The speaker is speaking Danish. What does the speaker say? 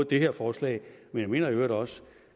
det her forslag men jeg mener i øvrigt også